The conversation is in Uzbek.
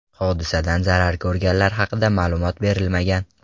Hodisadan zarar ko‘rganlar haqida ma’lumot berilmagan.